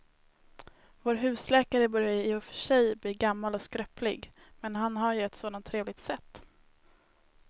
Vår husläkare börjar i och för sig bli gammal och skröplig, men han har ju ett sådant trevligt sätt!